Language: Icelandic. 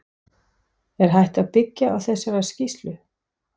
Er hægt að byggja á þessari skýrslu?